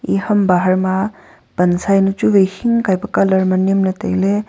e ham bahar ma pansa jawnu chu wai hing kai colour ma nem ley tai ley.